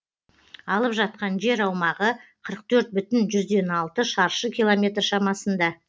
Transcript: алып жатқан жер аумағы қырық төрт бүтін жүзден алты шаршы километр шамасында